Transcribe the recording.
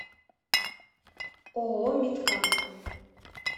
ооо мидкам